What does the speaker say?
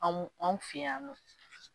Anw anw fɛ yan nɔ